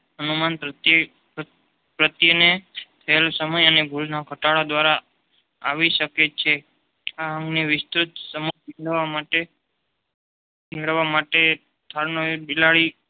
અણુમાં પ્રત્યેને ખેલ સમય અને ખાતર દ્વારા આવી શકે છે. આમ આમને વિસ્તૃત મેળવવા માટે સ્થાનો એ બિલાડી